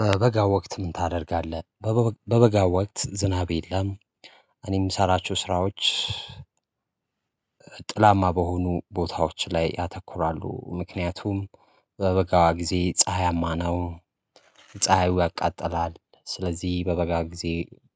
በበጋ ወቅት ምን ታደርጋለህ? በበጋ ወቅት ዝናብ የለም። እኔም የምሰራችው ስራዎች። ጥላማ በሆኑ ቦታዎች ላይ ያተኩራሉ ምክንያቱም በበጋ ጊዜ ፀሀያማ ነው። ፀሀዩ ያቃጥላል ስለዚህ በበጋ ጊዜ